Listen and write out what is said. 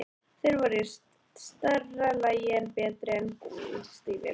Þeir voru í stærra lagi en betri en gúmmí- stígvélin.